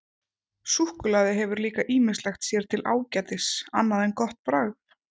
Súkkulaði hefur líka ýmislegt sér til ágætis annað en gott bragð.